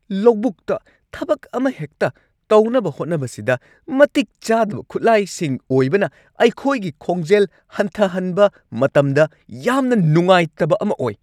ꯂꯧꯕꯨꯛꯇ ꯊꯕꯛ ꯑꯃꯍꯦꯛꯇ ꯇꯧꯅꯕ ꯍꯣꯠꯅꯕꯁꯤꯗ ꯃꯇꯤꯛ ꯆꯥꯗꯕ ꯈꯨꯠꯂꯥꯏꯁꯤꯡ ꯑꯣꯏꯕꯅ ꯑꯩꯈꯣꯏꯒꯤ ꯈꯣꯡꯖꯦꯜ ꯍꯟꯊꯍꯟꯕ ꯃꯇꯝꯗ ꯌꯥꯝꯅ ꯅꯨꯡꯉꯥꯏꯇꯕ ꯑꯃ ꯑꯣꯏ ꯫